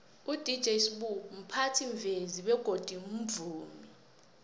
udj sbu mphathimvezi bego mvumi